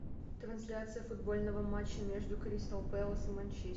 трансляция футбольного матча между кристал пэлас и манчестер